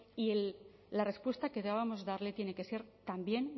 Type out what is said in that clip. y la respuesta que debamos darle tiene que ser también